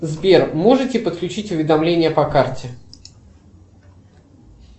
сбер можете подключить уведомления по карте